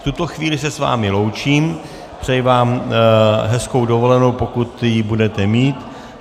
V tuto chvíli se s vámi loučím, přeji vám hezkou dovolenou, pokud ji budete mít.